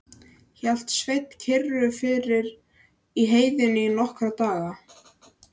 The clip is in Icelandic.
Hélt Sveinn kyrru fyrir í heiðinni í nokkra daga.